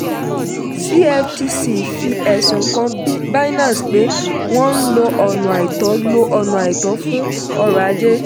cftc fi ẹ̀sùn kan binance pé wọ́n ń lo ọ̀na àìtọ́ lo ọ̀na àìtọ́ fún ọrọ̀ ajé.